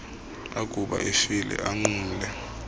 akuba efile anqumle